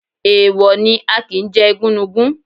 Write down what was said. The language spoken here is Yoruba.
Èèwọ̀ ni, a kì ń jẹ igúnnugún.